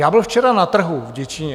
Já byl včera na trhu v Děčíně.